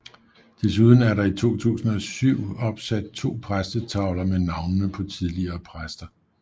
Desuden er der i 2007 opsat to præstetavler med navnene på tidligere præster